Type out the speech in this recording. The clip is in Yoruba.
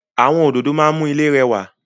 Àwọn òdòdó máa ń mú ilé rẹwà